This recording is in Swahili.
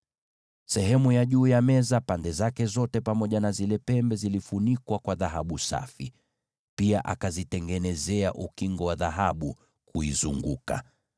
Akafunika hayo madhabahu juu na pande zote na pia zile pembe zake kwa dhahabu safi, na akayafanyizia ukingo wa dhahabu kuizunguka.